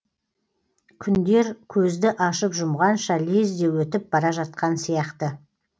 күндер көзді ашып жұмғанша лезде өтіп бара жатқан сияқты